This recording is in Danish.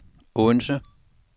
Odense